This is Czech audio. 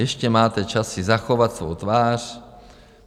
eště máte čas si zachovat svou tvář.